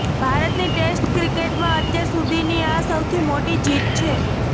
ભારતની ટેસ્ટ ક્રિકેટમાં અત્યાર સુધીની આ સૌથી મોટી જીત છે